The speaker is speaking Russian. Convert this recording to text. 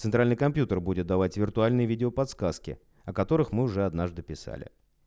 центральный компьютер будет давать виртуальный видео подсказки о которых мы же однажды писали